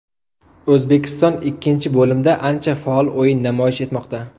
O‘zbekiston ikkinchi bo‘limda ancha faol o‘yin namoyish etmoqda.